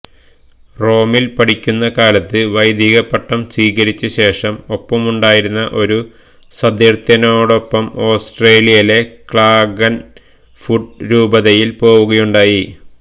റോമില് പഠിക്കുന്ന കാലത്ത് വൈദികപട്ടം സ്വീകരിച്ചശേഷം ഒപ്പമുണ്ടായിരുന്ന ഒരു സതീര്ഥ്യനോടൊപ്പം ഓസ്ട്രിയയിലെ ക്ലാഗന് ഫൂട്ട് രൂപതയില് പോവുകയുണ്ടായി